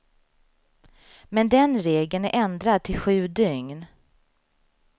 Men den regeln är ändrad till sju dygn.